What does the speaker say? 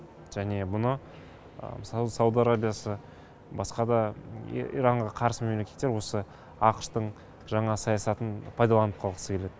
және бұны мысалы сауд арабиясы басқа да иранға қарсы мемлекеттер осы ақш тың жаңа саясатын пайдаланып қалғысы келеді